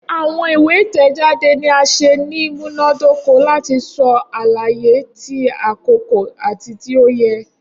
Awọn iwe itẹjade ni a ṣe ni imunadoko lati sọ alaye ti akoko ati ti o yẹ.